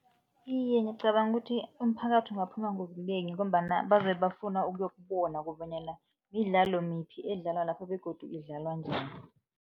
Iye, ngicabanga ukuthi umphakathi ungaphuma ngobunengi ngombana bazabe bafuna ukuyokubona kobanyana midlalo miphi edlalwa lapho begodu idlalwa njani.